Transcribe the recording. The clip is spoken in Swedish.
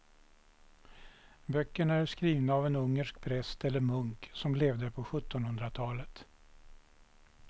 Böckerna är skrivna av en ungersk präst eller munk som levde på sjuttonhundratalet.